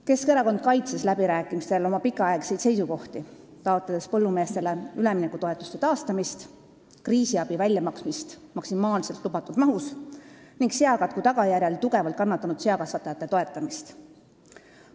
Keskerakond kaitses läbirääkimistel oma pikaaegseid seisukohti, taotledes põllumeeste üleminekutoetuste taastamist, kriisiabi väljamaksmist maksimaalselt lubatud mahus ning seakatku tagajärjel tugevalt kannatanud seakasvatajate toetamist.